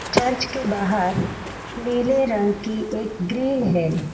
Church के बाहर नीले रंग की एक ग्रिल है।